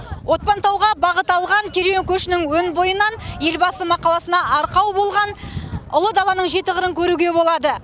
отпантауға бағыт алған керуен көшінің өн бойынан елбасы мақаласына арқау болған ұлы даланың жеті қырын көруге болады